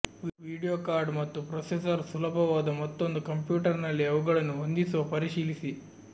video card ಮತ್ತು processor ಸುಲಭವಾದ ಮತ್ತೊಂದು ಕಂಪ್ಯೂಟರ್ನಲ್ಲಿ ಅವುಗಳನ್ನು ಹೊಂದಿಸುವ ಪರಿಶೀಲಿಸಿ